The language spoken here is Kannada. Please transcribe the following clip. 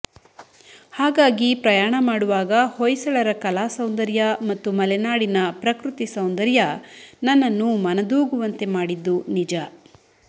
ಹಾಗಾಗಿ ಪ್ರಯಾಣ ಮಾಡುವಾಗ ಹೊಯ್ಸಳರ ಕಲಾ ಸೌಂದರ್ಯ ಮತ್ತು ಮಲೆನಾಡಿನ ಪ್ರಕೃತಿ ಸೌಂದರ್ಯ ನನ್ನನ್ನು ಮನದೂಗುವಂತೆ ಮಾಡಿದ್ದು ನಿಜ